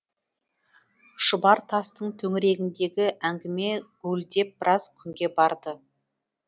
шұбар тастың төңірегіндегі әңгіме гуілдеп біраз күнге барды